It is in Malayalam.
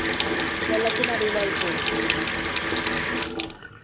വെള്ളത്തിനടിയിലായി പോയി.